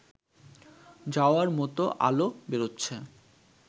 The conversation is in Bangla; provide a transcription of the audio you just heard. যাওয়ার মতো আলো বেরোচ্ছে